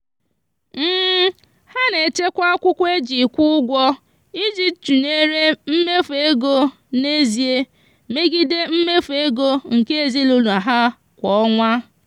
ha na-echekwa akwụkwọ e ji kwụ ụgwọ iji tụnyere mmefu ego n'ezie megide mmefu ego nke ezinụụlọ ha kwa ọnwa.